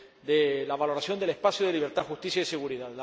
de la valoración del espacio de libertad, justicia y seguridad.